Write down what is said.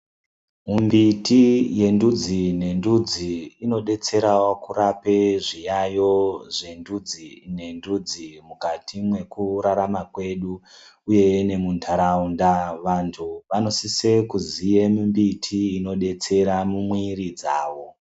Mumbiti yendudzi nendudzi inodetserawo kurape zviyayiyo zvendudzi nendudzi mukati mekurarama kwedu uye nemuntaraunda vantu vanosise kuziye mumbiti inodetsera mumiiri dzavo.